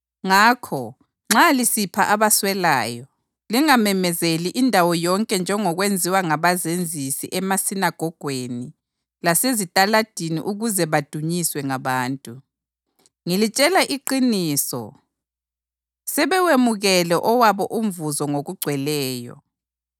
Ngakho nxa lisipha abaswelayo, lingamemezeli indawo yonke njengokwenziwa ngabazenzisi emasinagogweni lasezitaladini ukuze badunyiswe ngabantu. Ngilitshela iqiniso, sebewemukele owabo umvuzo ngokugcweleyo.